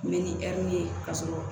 Mɛ ni ɛri ye k'a sɔrɔ